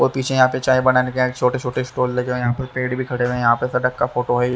और पीछे यहां पर चाए बनाने का छोटे छोटे स्टॉल लगे हुए है यहाँ पे पेड़ भी खड़े हुए है यहाँ पे सड़क का फोटो है --